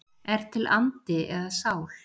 Er til andi eða sál?